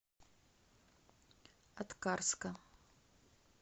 аткарска